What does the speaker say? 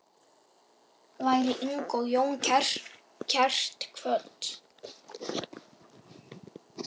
Veri Inga Jóna kært kvödd.